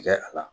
Tigɛ a la